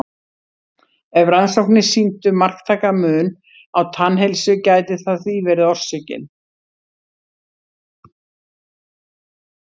Ef rannsóknir sýndu marktækan mun á tannheilsu gæti það því verið orsökin.